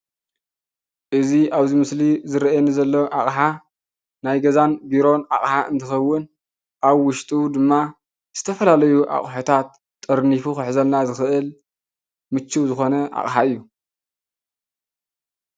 እዚ ኣብዚ ምስሊ ዝርኣየኒ ዘሎ ኣቅሓ ናይ ገዛን ቤሮን ኣቅሓ እንትከውን ኣብ ውሽጡ ድማ ዝተፈላለዩ ኣቁሕታት ጠርኒፉ ክሕዘልና ዝክእል ምቹ ዝኮነ ኣቅሓ እዩ።